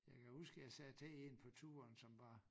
Jeg kan huske jeg sagde til en på turen som var